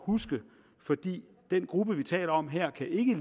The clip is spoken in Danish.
huske fordi den gruppe vi taler om her ikke